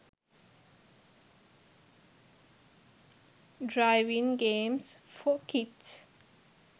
driving games for kids